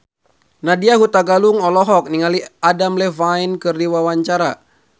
Nadya Hutagalung olohok ningali Adam Levine keur diwawancara